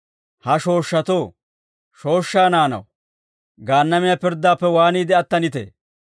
«Ha shooshshatoo, shooshshaa naanaw, Gaannamiyaa pirddaappe waaniide attanitee?